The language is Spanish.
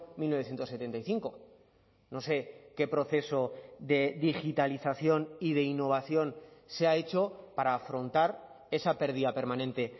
mil novecientos setenta y cinco no sé qué proceso de digitalización y de innovación se ha hecho para afrontar esa pérdida permanente